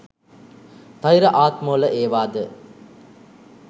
ඵෙර ආත්මවල ඒවාද